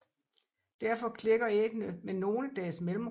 Derfor klækker æggene med nogle dages mellemrum